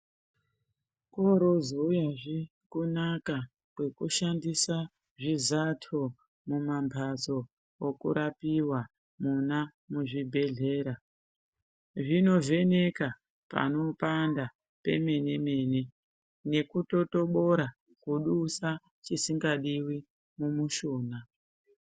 Korozouyazve kunaka kwekushandisa zvizato mumambatso okurapiwa mona muzvibhedhlera, zvinovheneka panopanda pemene-mene, nekutotobora kudusa chisingadiwi mumushuna.